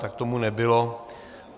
Tak tomu nebylo.